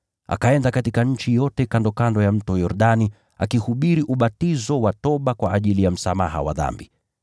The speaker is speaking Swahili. Akaenda katika nchi yote kandokando ya Mto Yordani, akihubiri ubatizo wa toba kwa ajili ya msamaha wa dhambi.